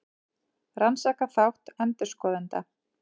Rannsakar þátt endurskoðenda